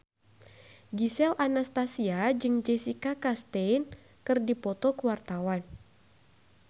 Gisel Anastasia jeung Jessica Chastain keur dipoto ku wartawan